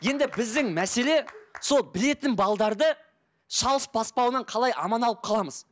енді біздің мәселе сол білетін шалыс баспаудан қалай аман алып қаламыз